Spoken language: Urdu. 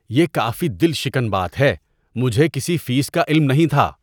یہ کافی دل شکن بات ہے۔ مجھے کسی فیس کا علم نہیں تھا۔